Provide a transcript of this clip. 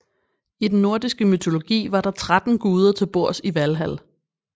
I den nordiske mytologi var der 13 guder til bords i Valhal